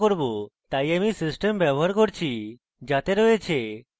তাই আমি system ব্যবহার করছি যাতে রয়েছে: